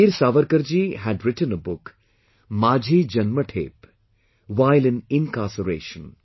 Veer Savarkarji had written a book "Majhi Jannmathep" while in incarceration